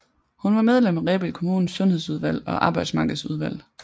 Hun var medlem af Rebild Kommunes sundhedsudvalg og arbejdsmarkedsudvalg